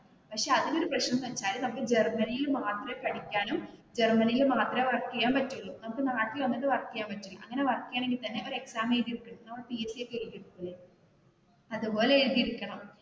പക്ഷെ അതിനു ഒരു പ്രശ്നം എന്ന് വെച്ചാൽ ജർമനിയിൽ മാത്രമേ പഠിക്കാനും ജർമനിയിൽ മാത്രമേ വർക്ക് ചെയ്യാൻ പറ്റുള്ളൂ നമുക്ക് നാട്ടിൽ വന്നിട് വർക്ക് ചെയ്യാൻ പറ്റില്ല അങ്ങനെ വർക്ക് ചെയ്യണമെങ്കിൽ തന്നെ ഒരു എക്സാം എഴുതിയിട്ട് അതുപോലെ എഴുതിയെടുക്കണം.